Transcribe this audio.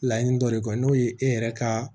Laɲini dɔ de kɔ n'o ye e yɛrɛ ka